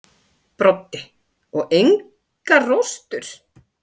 Broddi: Og engar róstur.